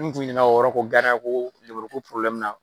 N'u kun ɲinɛna o yɔrɔ nin ko danaya ko Probilɛmu na.